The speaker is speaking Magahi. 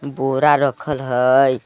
बोरा रखल हई।